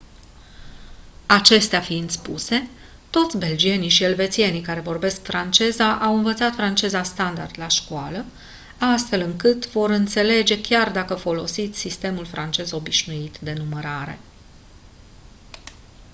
acestea fiind spuse toți belgienii și elvețienii care vorbesc franceza au învățat franceza standard la școală astfel încât vă vor înțelege chiar dacă folosiți sistemul francez obișnuit de numărare